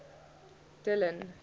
dillon